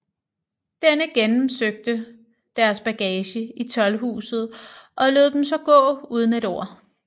Denne gennemsøgte deres bagage i toldhuset og lod dem så gå uden et ord